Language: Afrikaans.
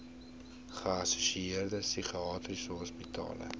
geassosieerde psigiatriese hospitale